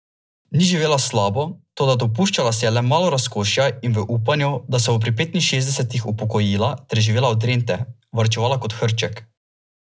Ni živela slabo, toda dopuščala si je le malo razkošja in v upanju, da se bo pri petinšestdesetih upokojila ter živela od rente, varčevala kot hrček.